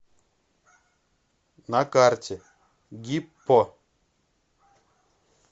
на карте гиппо